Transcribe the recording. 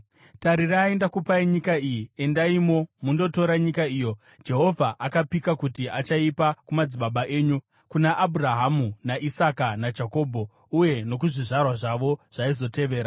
Tarirai, ndakupai nyika iyi. Endaimo mundotora nyika iyo Jehovha akapika kuti achaipa kumadzibaba enyu, kuna Abhurahama, naIsaka, naJakobho, uye nokuzvizvarwa zvavo zvaizovatevera.”